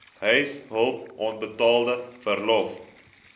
huishulp onbetaalde verlof